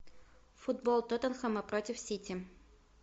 футбол тоттенхэма против сити